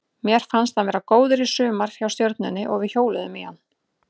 Mér fannst hann vera góður í sumar hjá Stjörnunni og við hjóluðum í hann.